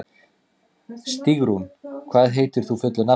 Stígrún, hvað heitir þú fullu nafni?